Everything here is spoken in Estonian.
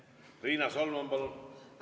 Riina Solman, palun!